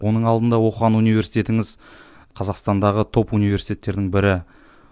оның алдында оқыған университетіңіз қазақстандағы топ университеттердің бірі